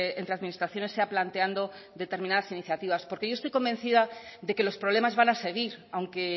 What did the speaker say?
entre administraciones sea planteando determinadas iniciativas porque yo estoy convencida de que los problemas van a seguir aunque